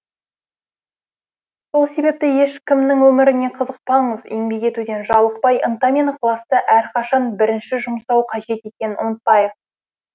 сол себепті ешкімнің өміріне қызықпаңыз еңбек етуден жалықпай ынта мен ықыласты әрқашан бірінші жұмсау қажет екенін ұмытпайық